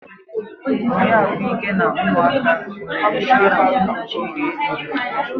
Oriakụ Ike na ụmụaka nwere ịnshọransị mkpuchi ihe mberede